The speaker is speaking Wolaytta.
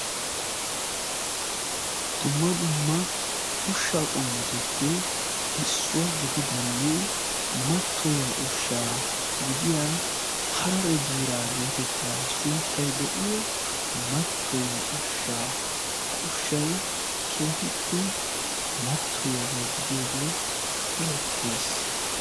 dumma dumma ushsha qommutuppe issuwaa gididanne mattoyiya ushsha gidiya 'hararee biiraa" geetettiya sunttay de7iyo mattoyiya ushshaa. ha ushshay keehippe mattoyiyaagaa gidiyoogee erettees.